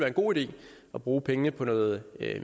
en god idé at bruge pengene på noget